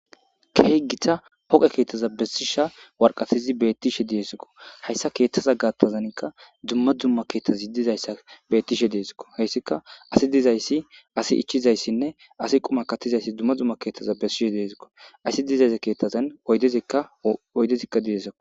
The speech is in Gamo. keygita hoqe keettaza bessisha warqatizi beettishe diyesikko hayssa keethtaza gaattazankka dumma dzumma keettazi dizayssa beettishe deesikko heyssika asi dizayssi asi ichizayssinne asi quma kattizayssi dumma dzumma keettaza besshishe deesikko asi dizayza keettazan de oydezikka diyesaqo